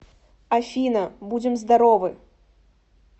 афина будем здоровы